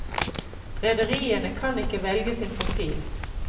Rederiene kan ikke velge sin profil.